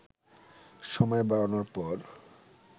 সময় বাড়ানোর পর